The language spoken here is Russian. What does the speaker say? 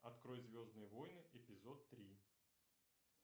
открой звездные войны эпизод три